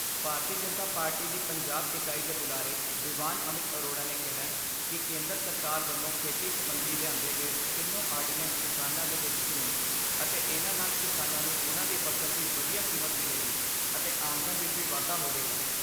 ਭਾਰਤੀ Janata Party ਦੀ ਪੰਜਾਬ ਇਕਾਈ ਦੇ ਬੁਲਾਰੇ ਦਿਵਾਨ ਅਮਿਤ ਅਰੋੜਾ ਨੇ ਕਿਹੈ ਕਿ ਕੇਂਦਰ ਸਰਕਾਰ ਵੱਲੋਂ ਖੇਤੀ ਸਬੰਧੀ ਲਿਆਂਦੇ ਗਏ ਤਿੰਨੋ ਆਰਡੀਨੈਂਸ ਕਿਸਾਨਾਂ ਦੇ ਹਿੱਤ 'ਚ ਨੇ ਅਤੇ ਇਨ੍ਹਾਂ ਨਾਲ ਕਿਸਾਨਾਂ ਨੂੰ ਉਨ੍ਹਾਂ ਦੀ ਫ਼ਸਲ ਦੀ ਵਧੀਆ ਕੀਮਤ ਮਿਲੇਗੀ ਅਤੇ ਆਮਦਨ ਵਿਚ ਵੀ ਵਾਧਾ ਹੋਵੇਗਾ।